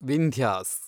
Vindhyas